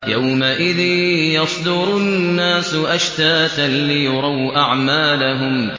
يَوْمَئِذٍ يَصْدُرُ النَّاسُ أَشْتَاتًا لِّيُرَوْا أَعْمَالَهُمْ